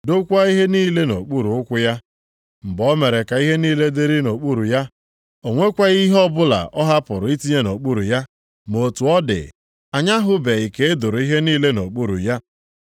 dokwaa ihe niile nʼokpuru ụkwụ ya.” + 2:8 \+xt Abụ 8:4-6\+xt* Mgbe o mere ka ihe niile dịrị nʼokpuru ya, o nwekwaghị ihe ọbụla ọ hapụrụ itinye nʼokpuru ya. Ma otu ọ dị, anyị ahụbeghị ka e doro ihe niile nʼokpuru ya.